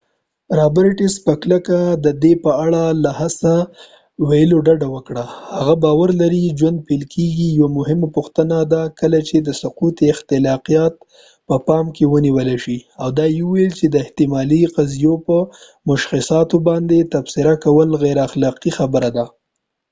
رابرټس په کلکه د دې په اړه له څه ویلو ډډه وکړه چې هغه باور لري ژوند پیل کیږي یوه مهمه پوښتنه ده کله چې د سقط اخلاقیات په پام کې ونیول شي او دا یې ویل چې د احتمالي قضیو په مشخصاتو باندې تبصره کول غیر اخلاقي خبره ده